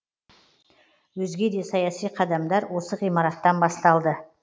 өзге де саяси қадамдар осы ғимараттан басталды